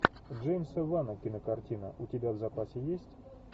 джеймса вана кинокартина у тебя в запасе есть